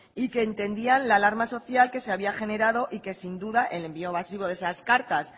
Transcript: y que entendían la alarma social que se había generado y que sin duda el envío masivo de esas cartas